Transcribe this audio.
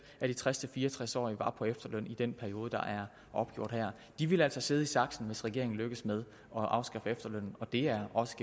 af de tres til fire og tres årige på efterløn i den periode der er opgjort her de vil altså sidde i saksen hvis regeringen lykkes med at afskaffe efterlønnen og det er også